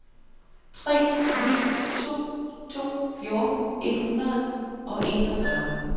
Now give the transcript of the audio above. tre ni to to fjorten et hundrede og enogfyrre